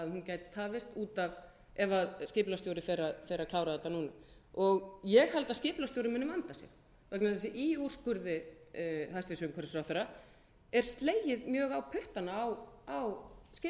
gæti tafist út af ef skipulagsstjóri fer að klára þetta núna ég held að skipulagsstjóri muni vanda sig vegna þess að í úrskurði hæstvirtur umhverfisráðherra er slegið mjög á puttana á skipulagsstjóra